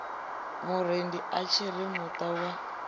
murendi a tshiri muta wa